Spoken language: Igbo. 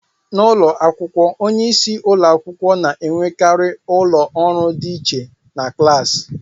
N'ụlọ akwụkwọ, onye isi ụlọ akwụkwọ na-enwekarị ụlọ ọrụ dị iche na klaasị